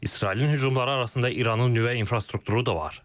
İsrailin hücumları arasında İranın nüvə infrastrukturu da var.